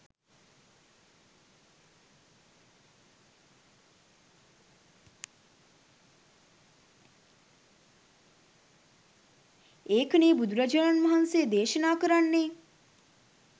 ඒකනේ බුදුරජාණන් වහන්සේ දේශනා කරන්නේ